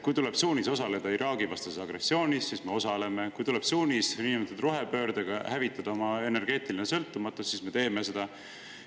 Kui tuleb suunis osaleda Iraagi-vastases agressioonis, siis me osaleme, kui tuleb suunis niinimetatud rohepöördega hävitada oma energeetiline sõltumatus, siis me teeme seda.